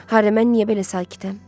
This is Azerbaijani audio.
Hardayam, mən niyə belə sakitəm?